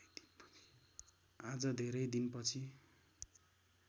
आज धेरै दिनपछि